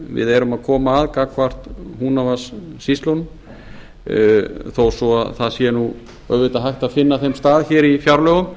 við erum að koma að gagnvart húnavatnssýslunum þó það sé auðvitað hægt að finna þeim stað í fjárlögum